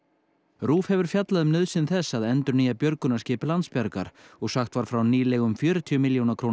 RÚV hefur fjallað um nauðsyn þess að endurnýja björgunarskip Landsbjargar og sagt var frá nýlegum fjörutíu milljóna króna